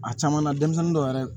A caman na denmisɛnnin dɔw yɛrɛ